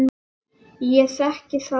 Ég þekki þar til.